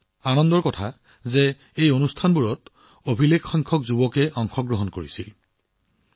এই অনুষ্ঠানবোৰৰ এটা সৌন্দৰ্য্য আছিল যে অভিলেখসংখ্যক যুৱকে এইবোৰত অংশ লৈছিল